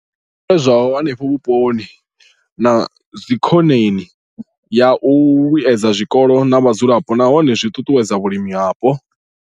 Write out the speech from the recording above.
I bveledzwaho henefho vhuponi na zwidzikoneni ya u vhuedza zwikolo na vhadzulapo nahone zwi ṱuṱuwedza vhulimi hapo.